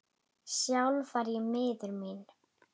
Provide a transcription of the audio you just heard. Sjálf var ég miður mín.